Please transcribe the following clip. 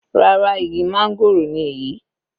Rárá, igi máńgòrò ni èyí.